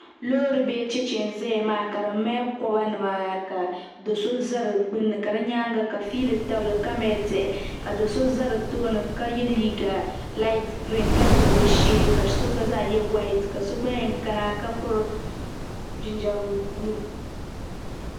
Paɣa so n ʒiya ka tabi o jirilli ka bɔbi bɔbgu aash ka yɛ liiga ka kɔhiri furuut nima moongu gba n bɔŋo n nyɛ kodu n nyɛ paanapil watamilo gba n bɔŋo kasaava n nyɛ pilantɛɛn.